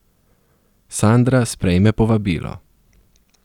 Sandra sprejme povabilo.